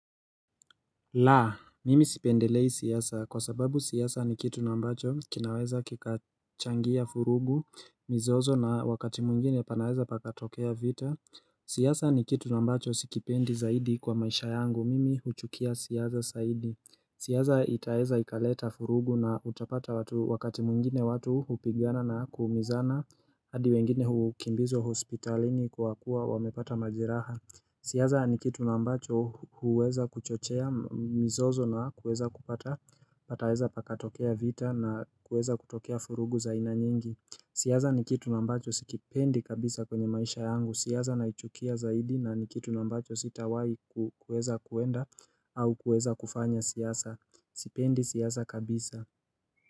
La, mimi sipendelei siasa kwa sababu siasa ni kitu ambacho kinaweza kikachangia vurugu mizozo na wakati mwengine panaweza pakatokea vita, siasa ni kitu ambacho sikipendi zaidi kwa maisha yangu, mimi huchukia siasa zaidi, siasa itaeza ikaleta furugu na utapata wakati mungine watu hupigana na kuumizana, hadi wengine hukimbizwa hospitalini kwa kuwa wamepata majeraha siasa ni kitu ambacho huweza kuchochea mizozo na kuweza kupata, pataweza pakatokea vita na kuweza kutokea vurugu za aina nyingi siasa ni kitu ambacho sikipendi kabisa kwenye maisha yangu, siasa naichukia zaidi na ni kitu ambacho sitawai kuweza kwenda au kuweza kufanya siyaza, sipendi siyaza kabisa.